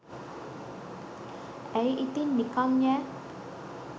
ඇයි ඉතින් නිකන් යෑ